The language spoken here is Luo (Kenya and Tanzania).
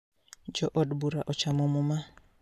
Jo od bura ochamo muma